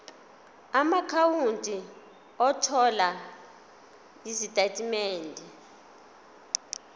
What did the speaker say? amaakhawunti othola izitatimende